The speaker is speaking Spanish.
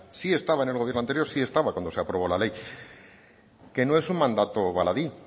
sí estaba en el gobierno anterior si estaba cuando se aprobó la ley que no es un mandato baladí